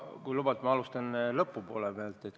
Kui lubad, siis ma alustan lõpust.